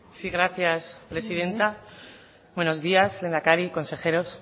sí gracias presidenta buenos días lehendakari consejeros